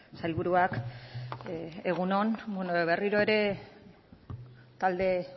sailburuak egun on bueno berriro ere talde